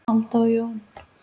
Alda og Jón.